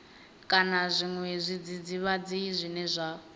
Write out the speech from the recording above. kana zwiṅwe zwidzidzivhadzi zwine zwa